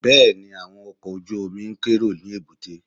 Bẹ́ẹ̀ni, àwọn ọkọ̀ ojú-omi ń kérò ní èbúté